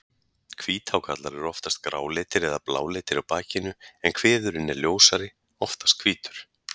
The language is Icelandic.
Hvíthákarlar eru oftast gráleitir eða bláleitir á bakinu en kviðurinn er ljósari, oftast hvítur.